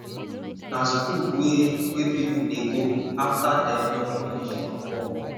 na school wey wey pipo dey go after dem don finish from work